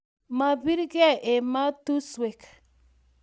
mabirgei ematushwek